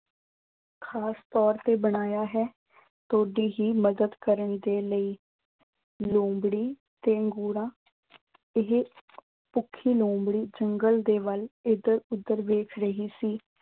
ਖਾਸ ਤੌਰ ਤੇ ਬਣਾਇਆ ਹੈ। ਤੁਹਾਡੀ ਹੀ ਮਦਦ ਕਰਨ ਦੇ ਲਈ। ਲੂੰਬੜੀ ਤੇ ਹੋਰਾਂ। ਇਹ, ਭੁੱਖੀ ਲੂੰਬੜੀ ਜੰਗਲ ਦੇ ਵੱਲ ਇਧਰ-ਉਧਰ ਵੇਖ ਰਹੀ ਸੀ।